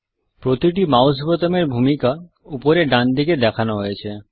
প্রতিটি মাউস বোতামের ভূমিকা উপরে ডান দিকে দেখানো হয়েছে